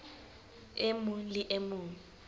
e mong le e mong